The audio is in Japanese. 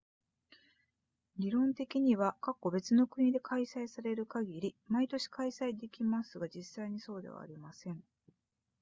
理論的には別の国で開催される限り毎年開催できますが実際にはそうではありません